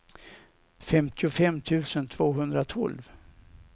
femtiofem tusen tvåhundratolv